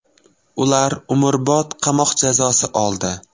Ular umrbod qamoq jazosi oldi.